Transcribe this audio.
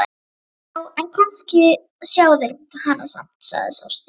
Já, en kannski sjá þeir hana samt, sagði sá stutti.